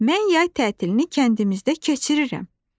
Mən yay tətilini kəndimizdə keçirirəm.